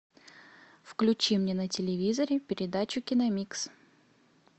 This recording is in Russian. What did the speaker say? включи мне на телевизоре передачу киномикс